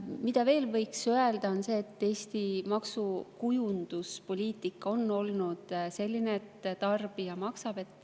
Mida veel võiks öelda, on see, et Eesti maksukujunduspoliitika on olnud selline, et tarbija maksab.